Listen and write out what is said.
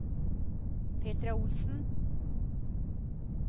Petra Olsen